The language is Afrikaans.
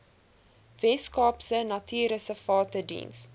weskaapse natuurreservate diens